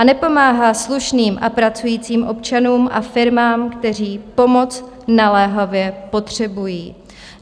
A nepomáhá slušným a pracujícím občanům a firmám, kteří pomoc naléhavě potřebují.